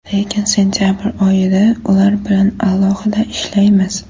Lekin sentabr oyida ular bilan alohida ishlaymiz.